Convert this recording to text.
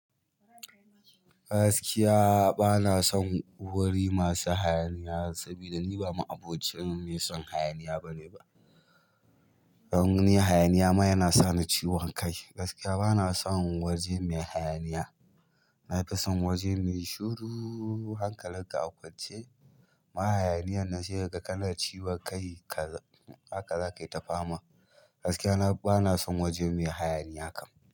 Gaskiya bana son wuri masu hayaniya sabida ni ba ma'abocin mai son hayaniya bane ba. Hangunin hayaniya ma yana sa ni ciwon kai. Gaskiya bana son waje mai hayaniya. Nafison waje mai shuru hankalin ka kwance. Ma hayaniyan nan sai kaga kana ciwon kai. Haka zakai ta fama. Gaskiya bana son waje mai hayaniya kam.